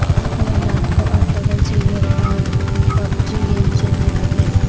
اپنی اولاد کو ارطغرل سیریل اور پب جی گیم سے دور رکھئے